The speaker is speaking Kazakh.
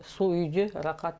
су үйде рахат